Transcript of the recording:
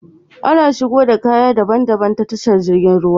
Ana shigo da kaya daban daban ta tashar jirgin ruwa